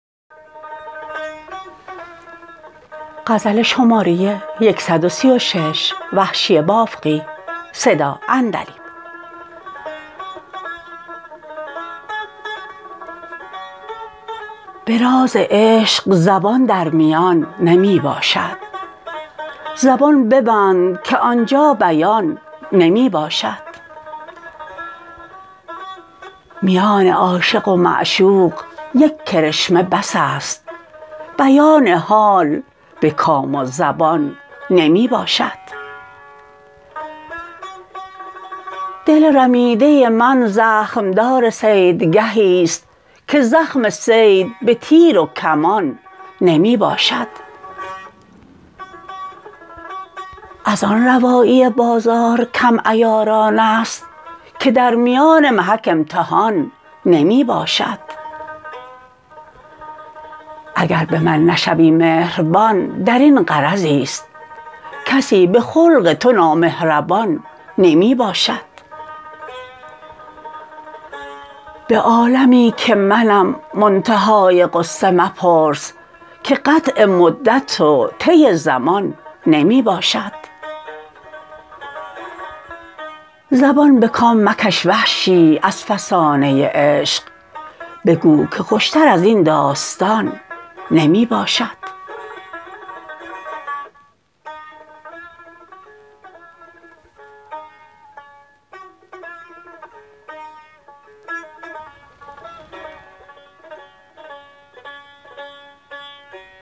به راز عشق زبان در میان نمی باشد زبان ببند که آن جا بیان نمی باشد میان عاشق و معشوق یک کرشمه بس است بیان حال به کام و زبان نمی باشد دل رمیده من زخم دار صیدگهی ست که زخم صید به تیر و کمان نمی باشد از آن روایی بازار کم عیاران ست که در میان محک امتحان نمی باشد اگر به من نشوی مهربان درین غرضی ست کسی به خلق تو نامهربان نمی باشد به عالمی که منم منتهای غصه مپرس که قطع مدت و طی زمان نمی باشد زبان به کام مکش وحشی از فسانه عشق بگو که خوش تر ازین داستان نمی باشد